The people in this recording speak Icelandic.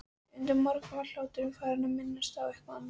Undir morgun var hláturinn farinn að minna á eitthvað annað.